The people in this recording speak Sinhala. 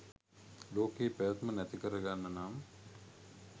ලෝකයේ පැවැත්ම නැතිකර ගන්න නම්